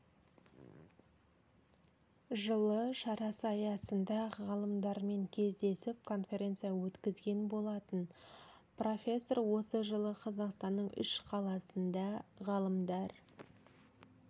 жылы шарасы аясында ғалымдармен кездесіп конференция өткізген болатын профессор осы жылы қазақстанның үш қаласында ғалымдар